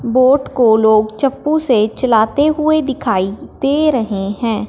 Boat को लोग चक्कु से चलते हुए दिखाई दे रहे हैं।